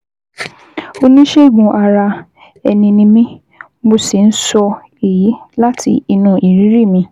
Oníṣègùn-ara-ẹni ni mí, mo sì ń sọ èyí láti inú ìrírí mi